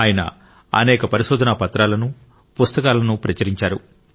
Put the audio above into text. ఆయన అనేక పరిశోధనా పత్రాలను పుస్తకాలను ప్రచురించారు